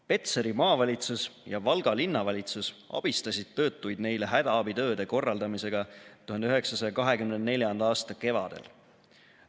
Petseri maavalitsus ja Valga linnavalitsus abistasid töötuid neile hädaabitööde korraldamisega 1924. aasta kevadel.